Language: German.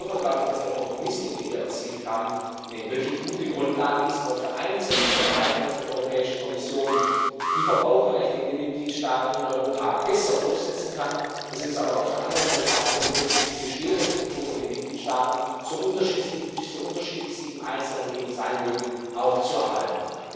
Insofern glaube ich, dass der Kompromiss, den wir hier erzielt haben, eine wirklich gute Grundlage ist, auf der einen Seite zu erreichen, dass die Europäische Kommission die Verbraucherrechte in den Mitgliedstaaten in Europa besser durchsetzen kann, es uns aber auf der anderen Seite auch gelungen ist, die bestehenden Strukturen in den Mitgliedstaaten so unterschiedlich sie im Einzelnen eben sein mögen auch zu erhalten.